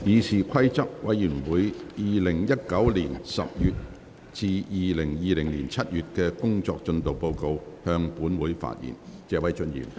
謝偉俊議員就"議事規則委員會2019年10月至2020年7月的工作進度報告"向本會發言。